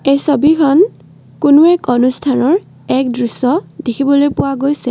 এই ছবিখন কোনো এক অনুষ্ঠানৰ এক দৃশ্য দেখিবলৈ পোৱা গৈছে।